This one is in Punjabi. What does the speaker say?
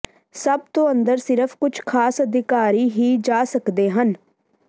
ਸਭ ਤੋਂ ਅੰਦਰ ਸਿਰਫ ਕੁਝ ਖਾਸ ਅਧਿਕਾਰੀ ਹੀ ਜਾ ਸਕਦੇ ਹਨ